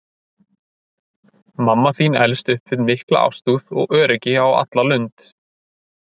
Mamma þín elst upp við mikla ástúð og öryggi á alla lund.